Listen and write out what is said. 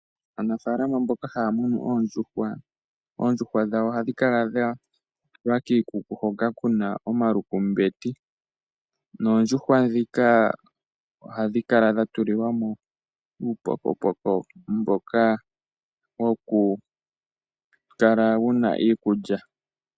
Aanafaalama mboka haya munu oondjuhwa . Oondjuhwa dhawo ohadhi kala dhatulwa kiikuku hoka kuna omalukumbeti noondjuhwa ndhika ohadhi kala dha tulilwamo uupokopoko mboka woku kala wuna iikulya .